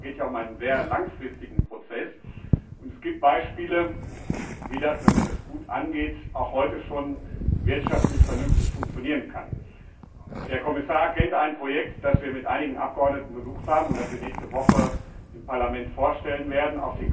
Aber es geht ja um einen sehr langfristigen Prozess, und es gibt Beispiele, wie das, wenn man das gut angeht, auch heute schon wirtschaftlich vernünftig funktionieren kann. Der Kommissar kennt ein Projekt auf den Kanarischen Inseln, das wir mit einigen Abgeordneten besucht haben und das wir nächste Woche im Parlament vorstellen werden.